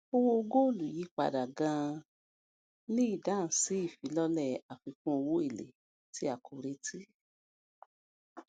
owó góòlù yí padà ganan ní ìdáhùn sí ìfilọlẹ àfikún owó èlé tí a kò retí